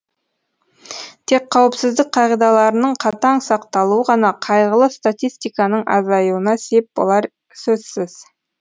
тек қауіпсіздік қағидаларының қатаң сақталуы ғана қайғылы статистиканың азаюына сеп болары сөзсіз